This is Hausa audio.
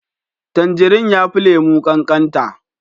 Tanjirine ya fi lemu kankata